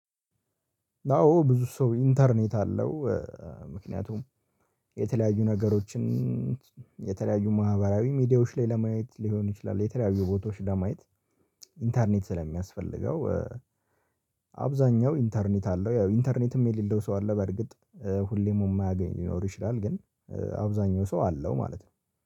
አዎ ብዙ ሰው ኢንተርኔት አለው። ምክንያቱም የተለያዩ ነገሮችን የተለያዩ ማህበራዊ ሚዲያዎች ላይ ለማየት ሊሆኑ ይችላል። የተለያዩ ቦታዎች ለማየት። ኢንተርኔት ስለሚያስፈልገው አብዛኛው ኢንተርኔት አለው። ያው ኢንተርኔትም የሌለው ሰው አለ። በርግጥ ሁሌም የማያገኝ ሊኖር ይችላል። ግን አብዛኛው ሰው አለው ማለት ነው